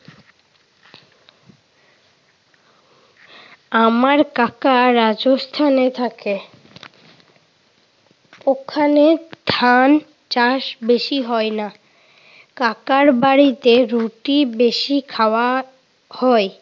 আমার কাকা রাজস্থানে থাকে। ওখানে ধান চাষ বেশি হয় না। কাকার বাড়িতে রুটি বেশি খাওয়া হয়।